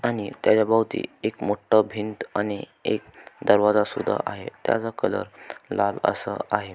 आणि त्याच्या भोवती एक मोठं भिंत आणि एक दरवाजासुद्धाआहे त्याचा कलर लाल असा आहे.